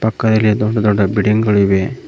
ಕೈಯ್ಲಿ ದೊಡ್ಡ ದೊಡ್ಡ ಬಿಡ್ಡಿಂಗ್ ಗಳಿವೆ.